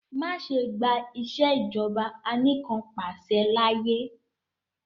Ma ṣe gba Ìṣèjọba Anìkanpàṣẹ laaye!